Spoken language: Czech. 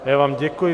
Já vám děkuji.